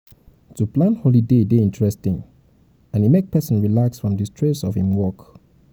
to plan holiday de dey interesting and e make persin relax from di stress of im work